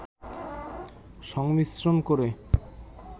সংমিশ্রন করে